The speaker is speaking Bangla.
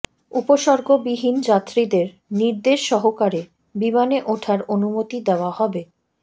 উপসর্গবিহীন যাত্রীদের নির্দেশ সহকারে বিমানে ওঠার অনুমতি দেওয়া হবে